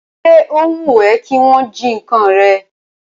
Ṣé o wùn ẹ́ kí wọn jí ǹkan rẹ?